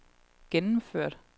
gennemført